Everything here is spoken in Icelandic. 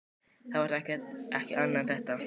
Það var þá ekki annað en þetta!